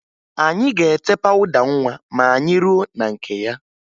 Anyị ga-ete pawụda nwa ma anyị ruo na nke ya